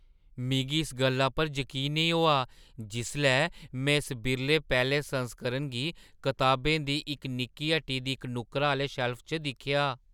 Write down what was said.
मिगी इस गल्ला पर जकीन नेईं होआ जिसलै में इस बिरले पैह्‌ले संस्करण गी कताबें दी इक निक्की हट्टी दी इक नुक्करा आह्‌ले शैल्फ च दिक्खेआ।